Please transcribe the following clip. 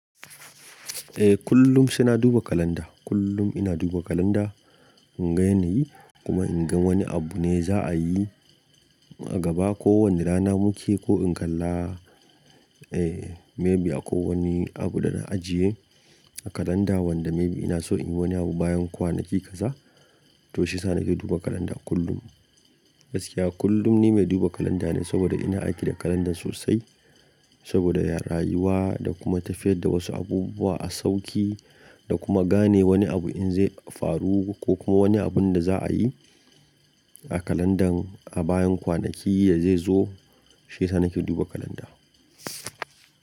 Eh kullum sai na duba kalanda. Kullum ina duba kalanda in ga yanayi kuma in ga wani abu ne za a yi a gaba ko wani rana muke ko in kalla eh maybe ako wani abu da na ajiye a kalanda wanda maybe ina so in yi wani abu bayan kwanaki kaza to shi yasa nake duba kalanda kullum. Gaskiya kullum ni mai duba kalanda ne saboda ina aiki da kalandar sosai saboda rayuwa da kuma tafiyar da wasu abubuwa a sauƙi da kuma gane wani abu in zai faru ko kuma wani abun da za a yi a kalandan a bayan kwanaki ya zai zo shi sa nake duba kalanda.